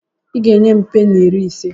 I ga-enye m peni iri ise.